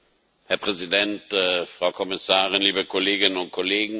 Herr Präsident, Frau Kommissarin, liebe Kolleginnen und Kollegen!